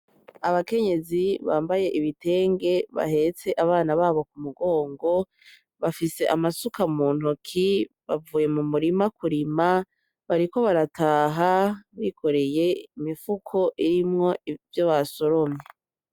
Abakenyezi bamabaye ibitenge bahetse abana babo ku mugongo, bafise amasuka mu ntoki ,bavuye mu mirima kurima ,bariko barataha ,bikoreye imifuko irimwo ivyo basoromye.